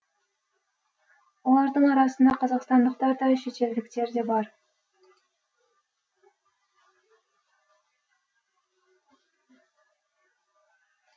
олардың арасында қазақстандықтар да шетелдіктер де бар